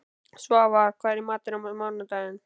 Svafar, hvað er í matinn á mánudaginn?